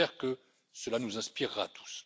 J'espère que cela nous inspirera tous.